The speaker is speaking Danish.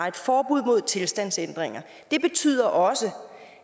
et forbud mod tilstandsændringer det betyder også